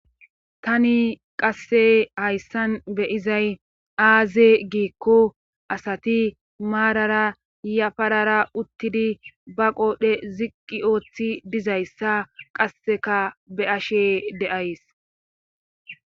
Tani qassey hayssan beyizay aaze giekko asati maarara yafarara uttidi ba qoodhdhe ziqqi ooththi dizayssa qasseka be ashe deays